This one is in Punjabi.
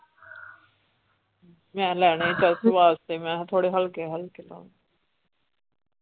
ਮੈਂ ਲੈਣਾ ਸੀ ਚਰਚ ਵਾਸਤੇ ਮੈਂ ਕਿਹਾ ਥੋੜੇ ਹਲਕੇ ਹਕਲੇ ਲਾ .